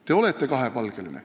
Te olete kahepalgeline.